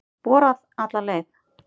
Borað alla leið